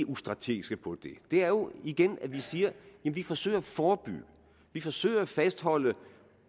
ustrategiske på det det er jo igen at vi siger at vi forsøger at forebygge vi forsøger at fastholde